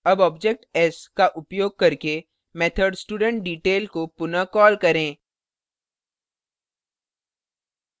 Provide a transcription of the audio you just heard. अब object s का उपयोग करके method studentdetail